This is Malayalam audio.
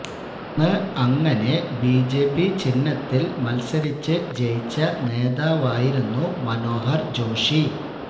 അന്ന് അങ്ങനെ ബിജെപി ചിഹ്നത്തില് മല്സരിച്ച് ജയിച്ച നേതാവായിരുന്നു മനോഹര് ജോഷി